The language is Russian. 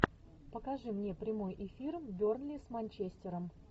покажи мне прямой эфир бернли с манчестером